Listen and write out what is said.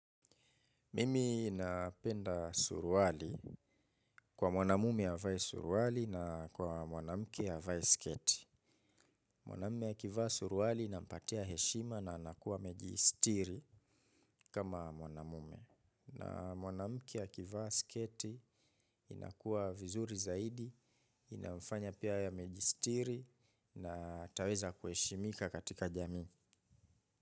Mimi napenda suruali kwa mwanamume avae suruali na kwa mwanamke avae sketi. Mwanamume akivaa suruali nampatia heshima na anakuwa amejisitiri kama mwanamume. Na mwanamke akivaa sketi inakuwa vizuri zaidi, inafanya pia yeye amejisitiri na ataweza kuheshimika katika jamii.